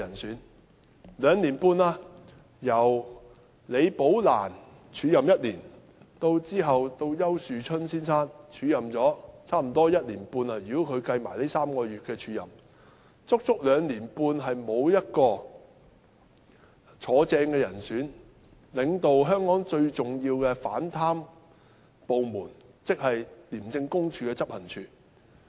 已經兩年半了，由李寶蘭署任1年，其後由丘樹春先生署任了差不多1年半——如果連同這3個月計算在內——足有兩年半的時間，沒有人正式擔任此職位，領導香港最重要的反貪部門，即廉署的執行處。